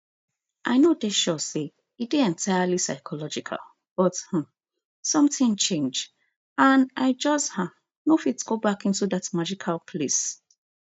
i no dey sure say e dey entirely physiological but um sometin change and i just um no fit go back into dat magical place